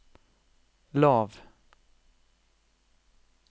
lav